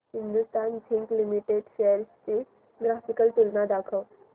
Hindustan zinc limited shares ची graphical तुलना दाखव